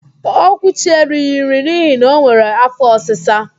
Okwuchi erighi nri n'ihi na o nwere áfọ́ ọsịsa.